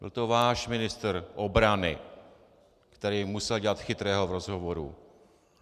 Byl to váš ministr obrany, který musel dělat chytrého v rozhovoru.